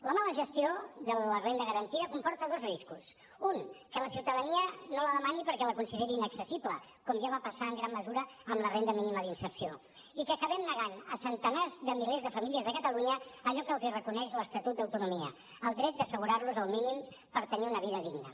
la mala gestió de la renda garantida comporta dos riscos un que la ciutadania no la demani perquè la consideri inaccessible com ja va passar en gran mesura amb la renda mínima d’inserció i que acabem negant a centenars de milers de famílies de catalunya allò que els reconeix l’estatut d’autonomia el dret d’assegurar los els mínims per tenir una vida digna